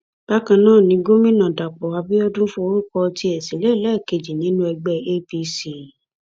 bákan náà ni gomina dapò abiodun forúkọ tiẹ sílẹ lẹẹkejì nínú ẹgbẹ apc